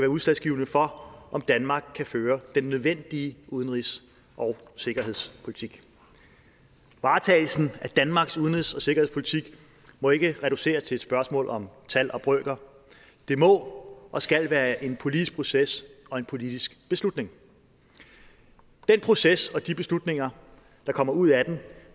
udslagsgivende for om danmark kan føre den nødvendige udenrigs og sikkerhedspolitik varetagelsen af danmarks udenrigs og sikkerhedspolitik må ikke reduceres til et spørgsmål om tal og brøker det må og skal være en politisk proces og en politisk beslutning den proces og de beslutninger der kommer ud af den